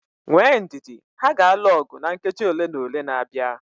Nwee ndidi, ha ga-alụ ọgụ na nkeji ole na ole na-abịa